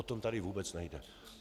O to tady vůbec nejde.